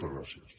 gràcies